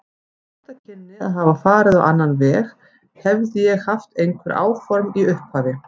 Þetta kynni að hafa farið á annan veg, hefði ég haft einhver áform í upphafi.